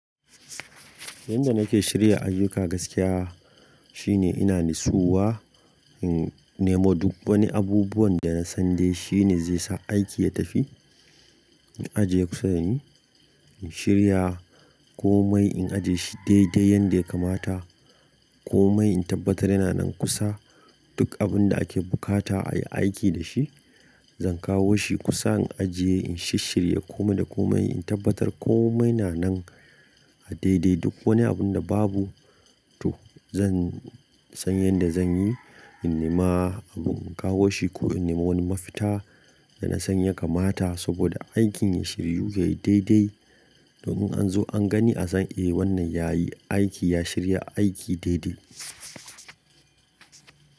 Yanda nake shirya ayyuka gaskiya shine ina nitsuwa, in nemo duk wani abubuwan da na san dai shine zai sa aiki ya tafi. In ajiye kusa da ni, in shirya komai in ajiye shi daidai yanda ya kamata, komai in tabbatar yana nan kusa. Duk abun da ake bukata a yi aiki da shi zan kawo shi kusa in ajiye, in shishshirya komai da komai, in tabbatar komai na nan a daidai. Duk wani abun da babu to zan san yanda zan yi, in nema abun in kawo shi ko in nema wani mafita da na san ya kamata saboda aikin ya shiryu yayi daidai. Domin in an zo an gani a san eh wannan yayi aiki, ya shirya aiki daidai.